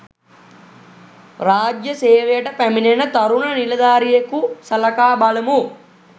රාජ්‍ය සේවයට පැමිණෙන තරුණ නිලධාරියෙකු සලකා බලමු